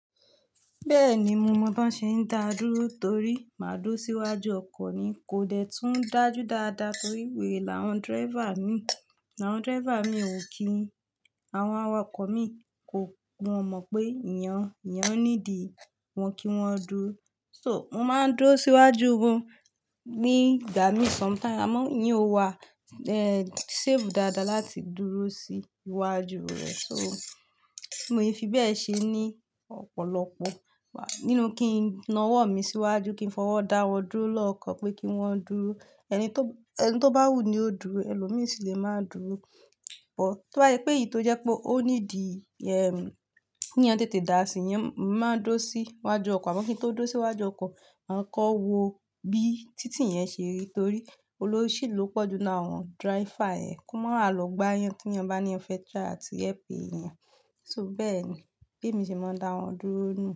Bẹ́ẹ̀ni, mo mọ̀ bí wọ́n ṣe ń dá dúró torí máa dúró síwájú ọkọ̀ ni kò dẹ́ tún dájú dáadáa torí wèrè làwọn driver mi, làwọn driver mi ò kí wọn, àwọn awakọ̀ mi kò mọ̀ pé ìyẹn, ìyẹn ó ní di, wọ́n kí wọ́n dúró. So, mo máa ń dúró síwájú wọn ní, dá mi sometime, àmọ́ ìyẹn ò wa, eh, safe dáadáa láti dúró sí iwájú rẹ̀. So, mo fi bẹ́ẹ̀ ṣe ní ọ̀pọ̀lọpọ̀, wà, nínú kí n na ọwọ́ mi síwájú, kí n fọwọ́ dá wọn dúró lọ́kàn pé kí wọ́n dúró. Ẹni tó, ẹni tó bá wù ni ó dúró, ẹlòmíràn sì le máa dúró. So, mo fi bẹ́ẹ̀ ṣe ní ọ̀pọ̀lọpọ̀, wà, nínú kí n na ọwọ́ mi síwájú, kí n fọwọ́ dá wọn dúró lọ́kàn pé kí wọ́n dúró. Bi titi yen se ri, tori olosi lo po ju laarin awon awako naa, ki ma lo gba eniyan ti eniyan ba fe gbiyanju lati ran elomiran lowo beeni, bi emi se ma n da won duro niyen.